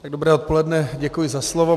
Dobré odpoledne, děkuji za slovo.